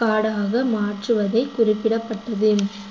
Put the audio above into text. காடாக மாற்றுவதை குறிப்பிடப்பட்டது